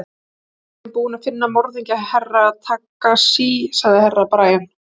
Ég held að við séum búin að finna morðingju Herra Takashi, sagði Herra Brian.